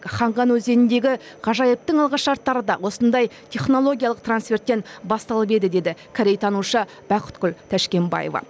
ханган өзеніндегі ғажайыптың алғышарттары да осындай технологиялық трансферттен басталып еді дейді корейтанушы бақытгүл тәшкенбаева